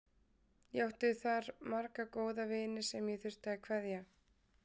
Ég átti þar marga góða vini sem ég þurfti að kveðja.